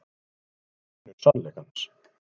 Ég er vinur sannleikans.